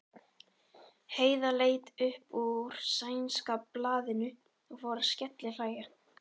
Heiða leit upp úr sænska blaðinu og fór að skellihlæja.